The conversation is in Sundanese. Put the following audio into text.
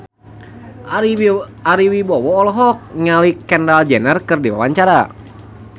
Ari Wibowo olohok ningali Kendall Jenner keur diwawancara